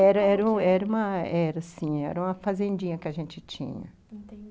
Era era era era sim, era uma fazendinha que a gente tinha. Enten